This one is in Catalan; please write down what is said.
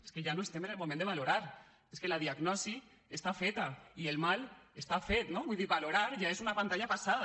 és que ja no estem en el moment de valorar és que la diagnosi està feta i el mal està fet no vull dir valorar ja és una pantalla passada